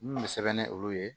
N bɛ sɛbɛn ni olu ye